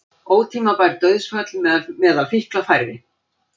Ótímabær dauðsföll meðal fíkla færri